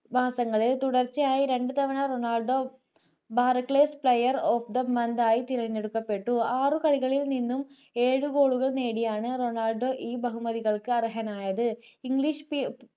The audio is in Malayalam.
മാസങ്ങളിൽ തുടർച്ചയായി രണ്ടു തവണ Ronaldo boroxan player of the year ആയി തിരഞ്ഞെടുക്കപ്പെട്ടു ആറു കളികളിൽ നിന്നും ഏഴു കളികളിൽ നിന്നും ഏഴു goal കൾ നേടിയാണ് റൊണാൾഡോ ഈ ബഹുമതികൾക്ക് അർഹനായത് english pre